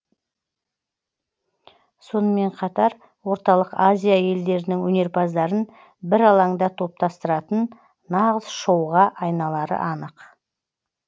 сонымен қатар орталық азия елдерінің өнерпаздарын бір алаңда топтастыратын нағыз шоуға айналары анық